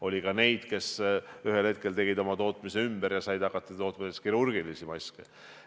Oli ka neid, kes tegid oma tootmise ümber ja said hakata tootma kirurgilisi maske.